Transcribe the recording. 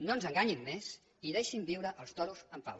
no ens enganyin més i deixin viure els toros en pau